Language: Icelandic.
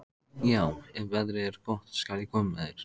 Já, ef veðrið er gott skal ég koma með þér.